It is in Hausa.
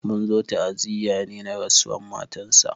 Mun zo ta'aziya ne na rasuwan matansa.